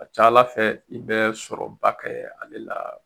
A ka ca ala fɛ i bɛ sɔrɔ ba kɛ ale la.